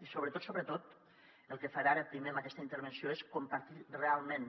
i sobretot sobretot el que faré ara primer en aquesta intervenció és compartir realment